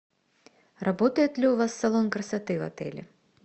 работает ли у вас салон красоты в отеле